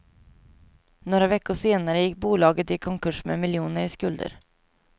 Några veckor senare gick bolaget i konkurs med miljoner i skulder.